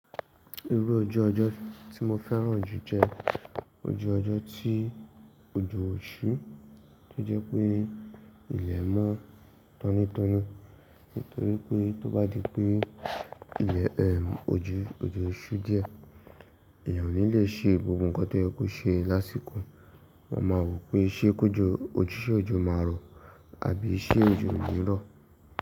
Irú ojú ọjọ́ tí mo fẹ́ràn jù jẹ ojú ọjọ́ tí ojo ṣú, tí ó jẹ́ pé ilẹ̀ mọ́ tọ́nítọ́ní. Nítorí pé tó bá di pé ilẹ̀ ẹ òjù, ojo ṣú díẹ̀, èèyàn ò ní le ṣe gbogbo nǹkan tó yẹ kó ṣe lásìkò. Wa máa rò pé ṣé kò jọ, ṣe ojo máa rọ̀ àbí iṣẹ́ òjò ń rọ̀.